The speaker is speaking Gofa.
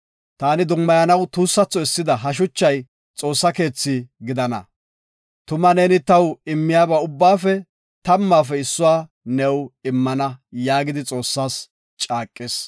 Taani dummayanaw tuussatho essida ha shuchay Xoossa keetha gidana. Tuma neeni taw immiyaba ubbaafe tammaafe issuwa new immana” yaagidi Xoossas caaqis.